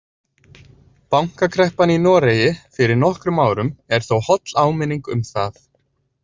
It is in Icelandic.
Bankakreppan í Noregi fyrir nokkrum árum er þó holl áminning um það.